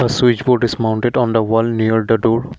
a switchboard is mounted on the wall near the door.